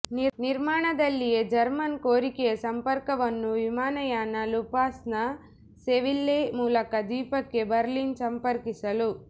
ನಿರ್ಮಾಣದಲ್ಲಿಯೇ German ಕೋರಿಕೆಯ ಸಂಪರ್ಕವನ್ನು ವಿಮಾನಯಾನ ಲುಫ್ಥಾನ್ಸ ಸೆವಿಲ್ಲೆ ಮೂಲಕ ದ್ವೀಪಕ್ಕೆ ಬರ್ಲಿನ್ ಸಂಪರ್ಕಿಸಲು